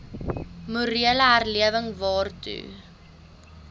morele herlewing waartoe